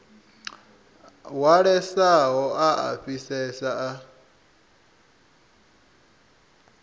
hwalesaho a a fhisesa a